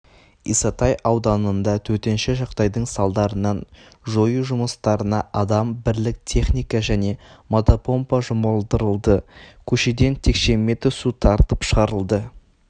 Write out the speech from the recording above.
исатай ауданында төтенше жағдайдың салдарын жою жұмыстарына адам бірлік техника және мотопомпа жұмылдырылды көшеден текше метр су тартып шығарылды